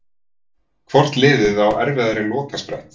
Hvort liðið á erfiðari lokasprett?